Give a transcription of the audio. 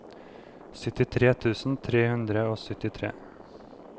syttitre tusen tre hundre og syttitre